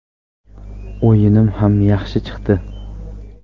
O‘yinim ham yaxshi chiqdi.